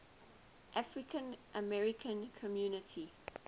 african american community